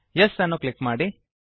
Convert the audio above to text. Yes ಅನ್ನು click ಮಾಡಿ